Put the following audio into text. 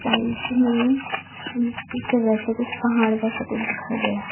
Side में मिट्टी के जैसा कुछ पहाड़ जैसा कुछ दिखाई दे रहा।